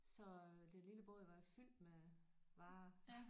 Så den lille båd var fyldt med varer